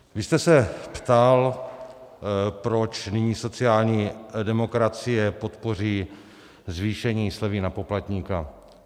Vy jste se ptal, proč nyní sociální demokracie podpoří zvýšení slevy na poplatníka.